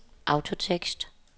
autotekst